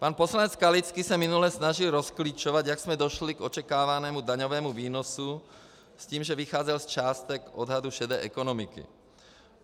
Pan poslanec Skalický se minule snažil rozklíčovat, jak jsme došli k očekávanému daňovému výnosu, s tím, že vycházel z částek odhadu šedé ekonomiky.